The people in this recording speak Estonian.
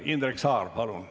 Indrek Saar, palun!